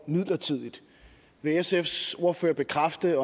midlertidigt vil sfs ordfører bekræfte